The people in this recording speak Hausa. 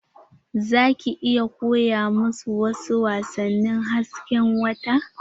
Za ki iya koya musu wasu wasannin hasken wata?